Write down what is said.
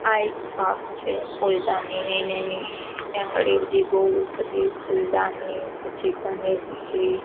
આ એક શોપ છે ફૂલદાનીની ને એની ત્યાં ઘણી બધી બૌ બધી ફૂલદાની પછી --